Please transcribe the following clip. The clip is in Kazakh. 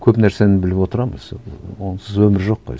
көп нәрсені біліп отырамын онсыз өмір жоқ қой